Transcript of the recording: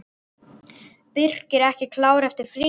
Birkir ekki klár eftir fríið?